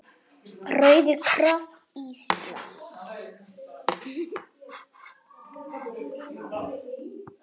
Rauði kross Íslands